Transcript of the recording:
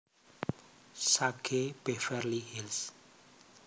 Sage Beverly Hills